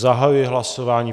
Zahajuji hlasování.